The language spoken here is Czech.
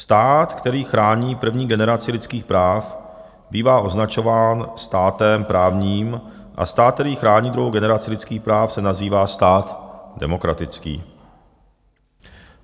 "Stát, který chrání první generaci lidských práv, bývá označován státem právním, a stát, který chrání druhou generaci lidských práv, se nazývá stát demokratický.